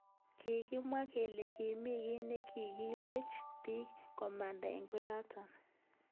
Kikimwa kele kimi ki nekikilech bik komanda eng koatak.